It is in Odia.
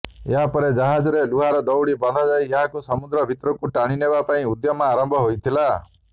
ଏହାପରେ ଜାହାଜରେ ଲୁହାର ଦଉଡ଼ି ବନ୍ଧାଯାଇ ଏହାକୁ ସମୁଦ୍ର ଭିତରକୁ ଟାଣିନେବା ପାଇଁ ଉଦ୍ୟମ ଆରମ୍ଭ ହୋଇଥିଲା